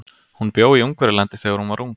Hún bjó í Ungverjalandi þegar hún var ung.